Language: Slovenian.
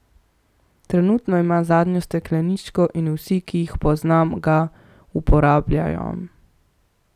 Trenutno imam zadnjo stekleničko in vsi, ki jih poznam, ga uporabljajo.